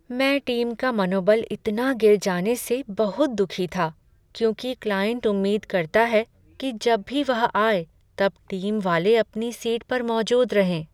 मैं टीम का मनोबल इतना गिर जाने से बहुत दुखी था क्योंकि क्लाइंट उम्मीद करता है कि जब भी वह आए तब टीम वाले अपनी सीट पर मौजूद रहें।